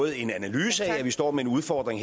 en analyse af at vi står med en udfordring